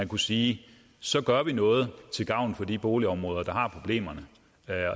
kunne sige så gør vi noget til gavn for de boligområder der har problemerne